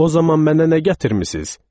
O zaman mənə nə gətirmisiz?